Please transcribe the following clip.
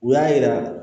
U y'a yira